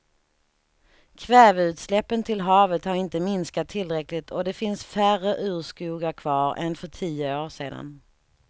Kväveutsläppen till havet har inte minskat tillräckligt och det finns färre urskogar kvar än för tio år sedan.